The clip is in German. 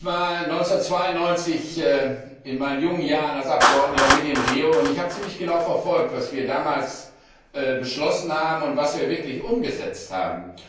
Ich war 1992 in meinen jungen Jahren als Abgeordneter mit in Rio, und ich habe ziemlich genau verfolgt, was wir damals beschlossen haben, und was wir wirklich umgesetzt haben.